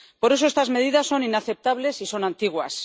Por eso, estas medidas son inaceptables y son antiguas.